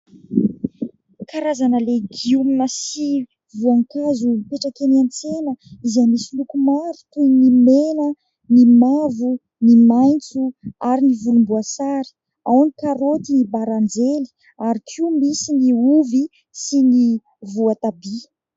Karazana legioma sy voankazo mipetraka eny an-tsena izay misy loko maro: toy ny mena, ny mavo, ny maitso, ary ny volomboasary; ao ny karoty, ny baranjely, ary koa misy ny ovy sy ny voatabia.